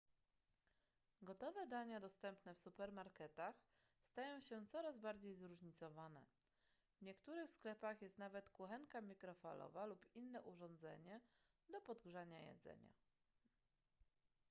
gotowe dania dostępne w supermarketach stają się coraz bardziej zróżnicowane w niektórych sklepach jest nawet kuchenka mikrofalowa lub inne urządzenie do podgrzania jedzenia